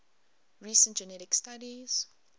recent genetic studies